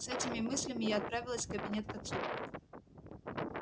с этими мыслями я отправилась в кабинет к отцу